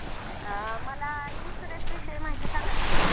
अ मला insurance विषयी माहिती सांगाल का?